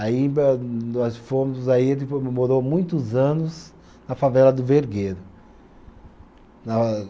Aí eh, nós fomos, aí ele mo morou muitos anos na favela do Vergueiro. Na